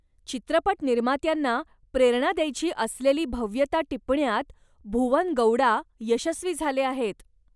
चित्रपट निर्मात्यांना प्रेरणा द्यायची असलेली भव्यता टिपण्यात भुवन गौडा यशस्वी झाले आहेत.